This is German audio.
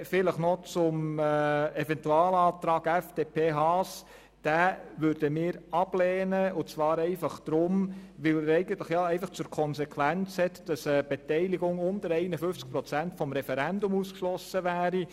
Noch etwas zum Eventualantrag Haas: Diesen lehnen wir deshalb ab, weil er einfach zur Konsequenz hat, dass damit ein Beteiligungsentscheid unter 51 Prozent vom Referendum ausgeschlossen würde.